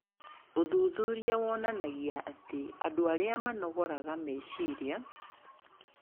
Ũthuthuria wonanagia atĩ andũ arĩa manogoraraga meciria